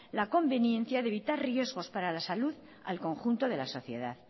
la convivencia de evitar riesgos para la salud al conjunto de la sociedad